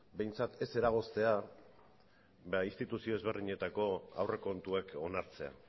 ez eragoztea instituzio ezberdinetako aurrekontuak onartzea